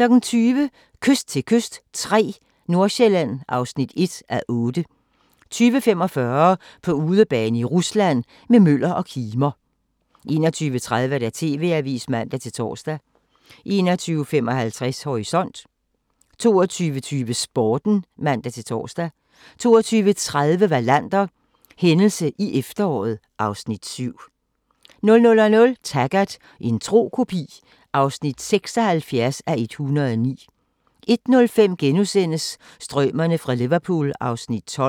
20:00: Kyst til kyst III – Nordsjælland (1:8) 20:45: På udebane i Rusland – med Møller og Kimer 21:30: TV-avisen (man-tor) 21:55: Horisont 22:20: Sporten (man-tor) 22:30: Wallander: Hændelse i efteråret (Afs. 7) 00:00: Taggart: En tro kopi (76:109) 01:05: Strømerne fra Liverpool (Afs. 12)*